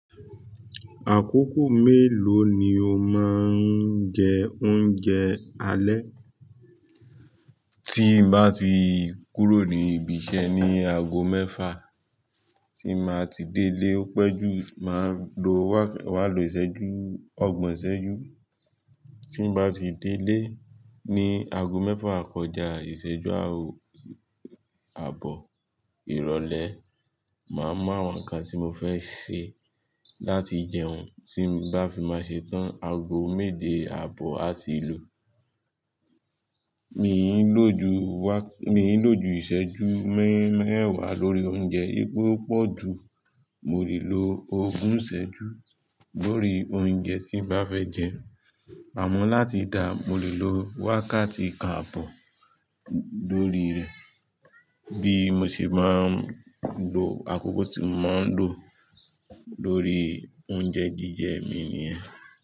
Àkókò mélòó ni o máa ń jẹ oúnjẹ alẹ́? Tí n bá ti kúrò ní ibi iṣẹ́ ní aago mẹ́fà, ti n bá ti délé o pẹ́jú, màá lo wákà ìṣẹ́jú ọgbọ̀n ìṣẹ́jú tí n bá ti délé ní aago mẹ́fà kọjá ìṣẹ́jú àbọ̀ ìrọ̀lẹ́. Màá mu àwọn nǹkan tí mo fẹ́ ṣe láti jẹun, tí bá fi máa ṣe tán ago méje àbọ̀ àti ló. Mi n lò ju ìṣẹ́jú mẹ́wà lórí oúnjẹ. Pe o pọ̀ jù, mo lè lo ogún ìṣẹ́jú lórí oúnjẹ tí n bá fẹ́ jẹ. Amọ́ láti dà, mo lè lo wákàtí kan àbọ̀ lórí rẹ̀, bí mo ṣe máa ń lo àkókò tí mo máa ń lò lórí oúnjẹ jíjẹ mi nìyẹn.